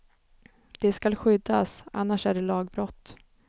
De skall skyddas, annars är det lagbrott.